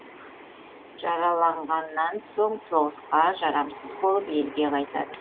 жараланғаннан соң соғысқа жарамсыз болып елге қайтады